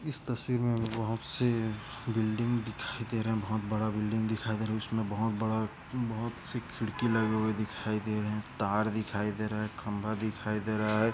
इस तस्वीर मे बहुत से बिल्डिंग दिखाई दे रहे है बहुत बड़ा बिल्डिंग दिखाई दे रहा है इसमें बहुत बड़ा बहुत सी खिड़की लगी हुई दिखाई दे रहे है ताड़ दिखाई दे रहा है खम्बा दिखाई दे रहा है।